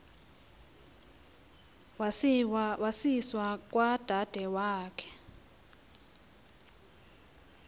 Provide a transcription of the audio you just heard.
wasiwa kwadade wabo